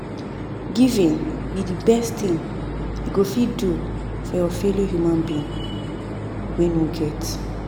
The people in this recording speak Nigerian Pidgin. Giving be the best thing you go fit do for your fellow human being wey no get